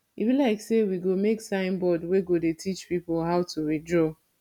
e be like say we go make sign board wey go dey teach people how to withdraw